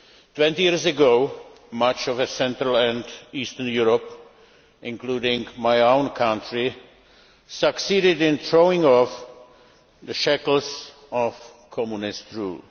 Twenty years ago, much of Central and Eastern Europe, including my own country, succeeded in throwing off the shackles of Communist rule.